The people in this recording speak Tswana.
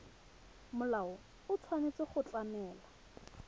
molao o tshwanetse go tlamela